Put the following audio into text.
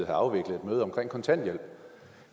afviklet et møde om kontanthjælp